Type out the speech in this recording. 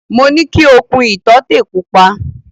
Mo ní ki o kun ìtọ́tè pupa.